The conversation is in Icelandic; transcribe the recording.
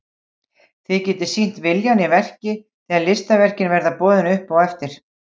Þið getið sýnt viljann í verki þegar listaverkin verða boðin upp á eftir.